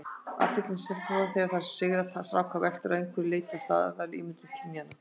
Athyglin sem stelpur fá þegar þær sigra stráka veltur að einhverju leyti á staðalmyndum kynjanna.